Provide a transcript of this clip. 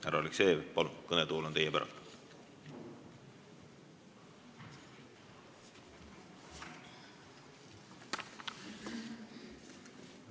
Härra Aleksejev, palun, kõnetool on teie päralt!